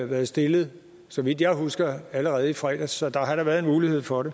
været stillet så vidt jeg husker allerede i fredags så der har da været en mulighed for at